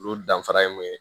Olu danfara ye mun ye